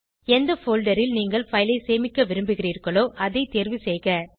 எந்த போல்டர் ல் நீங்கள் பைல் ஐ சேமிக்க விரும்புகிறீர்களோ அதை தேர்வு செய்க